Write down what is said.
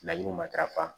Laɲiniw matarafa